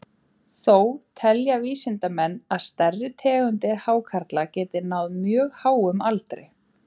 Þó telja vísindamenn að stærri tegundir hákarla geti náð mjög háum aldri.